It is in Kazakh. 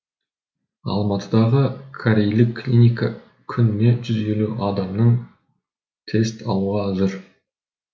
алматыдағы корейлік клиника күніне жүз елу адамның тест алуға әзір